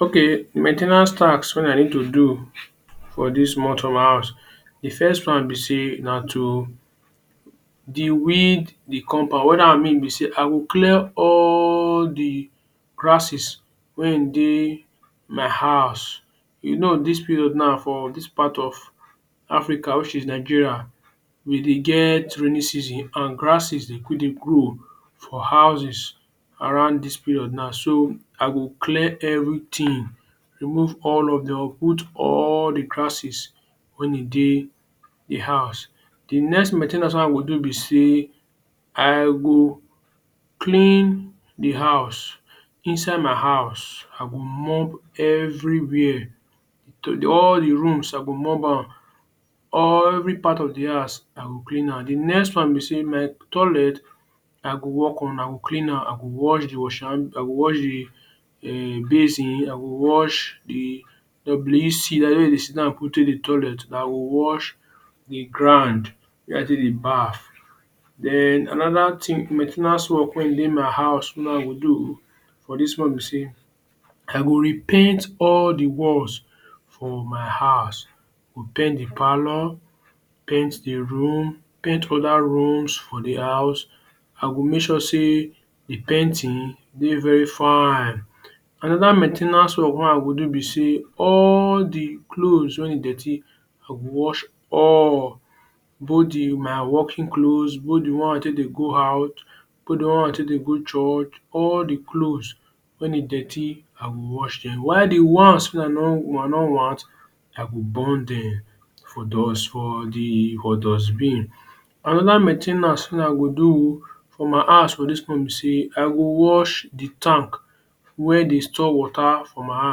Okay, main ten ance task wey I need to do for dis month for my house, de first one be say na to deweed de compound. Wat dat one mean be say I will clear all de grasses wey in dey my house. You know dis period now for dis part of Africa which is Nigeria we dey get rainy season and grasses dey quick dey grow for houses around dis period now. So I go clear everything remove all of uproot all de grasses wey e dey de house. De next main ten ance wey I go do be sey I go clean de house, inside my house I go mop everywhere, all de rooms I go mop am allvery part of de house I go clean am. De next one be say my toilet, I go work on I go clean am I go wash de wash hand I go wash de um basin, I go wash de WC dat wey dem dey sit down put take de toilet. I go wash de ground wey I take dey baff. Den another thing main ten ance work wey in dey house wey I go do for dis one be sey I go repaint all de walls for my house, go paint de parlour, paint de room, paint other rooms for de house. I go make sure sey de painting dey very fine. Another main ten ance work wey I go do be sey all de clothes wey e dirty, I go wash all both de my working cloth, both de one wey I take dey go out, both de one wey I take dey go church, all de clothes wen e dirty I go wash dem. While de ones wey I no want I go burn dem for for de for dustbin. Another main ten ance wey I go do for my house for dis one be sey, I go wash de tank wey dey store water for my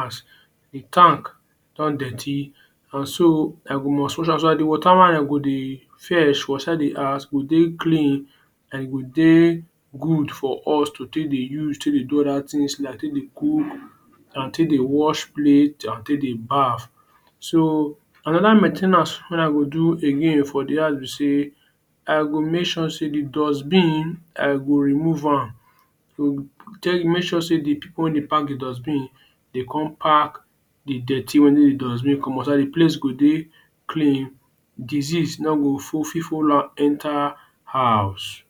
house. De tank don dirty and so I go must wash so dat de water wey I go dey fetch for inside de house go dey clean and e go dey good for us to take dey use, take dey do other things like take dey cook and take dey watch plate and take dey baff. So another main ten ance wen I go do again for de house be sey I go make sure sey de dustbin, I go remove am. Make sure sey de pipu wey dey pack de dustbin dey come pack de dirty wey de dustbin comot so dat de place go dey clean, disease no go for fit follow am enter house.